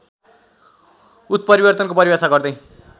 उत्परिवर्तनको परिभाषा गर्दै